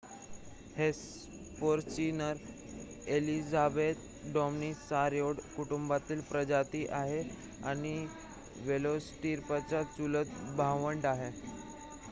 Hesperonychus elizabethae Dromaeosauridae कुटुंबातील प्रजाती आहे आणि वेलोसिराप्टरचे चुलत भावंड आहे